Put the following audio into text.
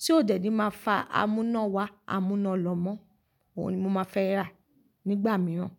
tí ó dẹ̀ ní máa fa amúná wá amúná lọ́ mọ́, òun ni mo máa fẹ́ rà nígbà mìíràn.